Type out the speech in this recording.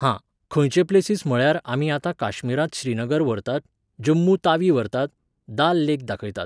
हां, खंयचे प्लेसीस म्हळ्यार आमी आतां काश्मीरांत श्रीनगर व्हरतात, जम्मू तावी व्हरतात, दाल लेक दाखयतात